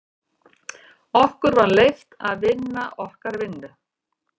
Okkur var leyft að vinna okkar vinnu.